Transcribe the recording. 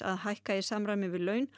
að hækka í samræmi við laun